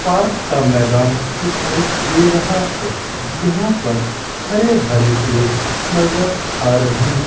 Park का मैदान दिखाई दे रहा है यहां पर हरे भरे पेड़ नजर आ रहे हैं।